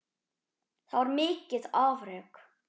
Það var mikið afrek.